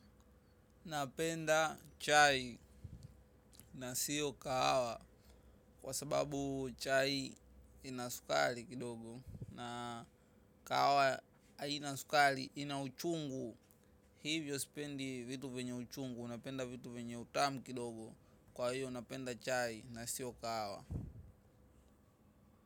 Napenda chai na siyo kahawa kwa sababu chai ina sukari kidogo na kahawa haina sukari, inauchungu. Hivyo spendi vitu vyenye uchungu, napenda vitu venya utamu kidogo. Kwa hiyo napenda chai na siyo kahawa.